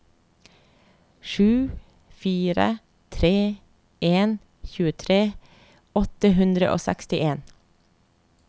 sju fire tre en tjuetre åtte hundre og sekstien